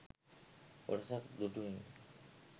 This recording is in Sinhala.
කොටසක් දුටුවෙමි